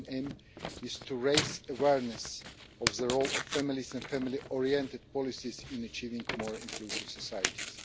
The main aim is to raise awareness of the role of families and family oriented policies in achieving more inclusive societies.